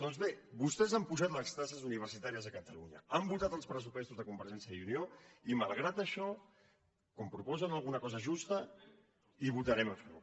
doncs bé vostès han apujat les taxes universitàries a catalunya han votat els pressupostos de convergèn·cia i unió i malgrat això com que proposen alguna cosa justa hi votarem a favor